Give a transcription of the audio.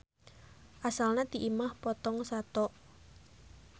Asalna ti imah potong sato.